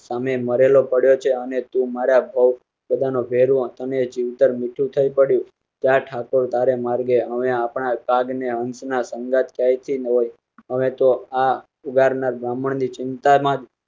સામે મરેલો પડ્યો છે અને તું મારા ભવ બધા નો ભેરુ તને જીવતર મીઠું થઈ પડ્યું. જ ઠાકુર તારા માર્ગે હમે આપડા ને હંસ ના સંગાથ ત્યાં થી અમે તો આ ઉધાર ના ગામન ના ચિંતા માજ